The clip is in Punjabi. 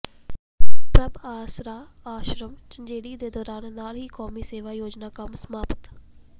ਪ੍ਰਭ ਆਸਰਾ ਆਸ਼ਰਮ ਝੰਜੇੜੀ ਦੇ ਦੌਰੇ ਨਾਲ ਹੀ ਕੌਮੀ ਸੇਵਾ ਯੋਜਨਾ ਕੰਮ ਸਮਾਪਤ